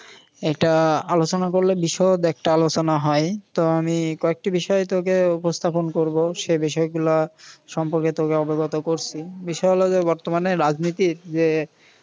এইটা আলোচনা করলে বিশদ একটা আলোচনা হয়। তো আমি কয়েকটি বিষয় তোকে উপস্থাপন করব সে বিষয়গুলো সম্পর্কে তোকে অবগত করসি। বিষয় হল যে বর্তমানে রাজনীতির যে